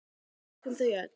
Við elskum þau öll.